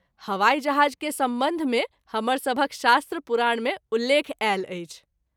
हवाई जहाज के संबंध मे हमर सभहक शास्त्र पुराण मे उल्लेख आयल अछि।